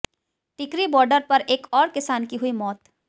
Tikri border पर एक और किसान की हुई मौत